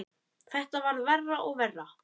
Þetta varð verra og verra.